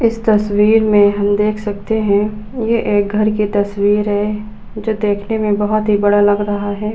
इस तस्वीर में हम देख सकते है। ये एक घर की तस्वीर है। जो देखने में बोहोत ही बड़ा लग रहा है।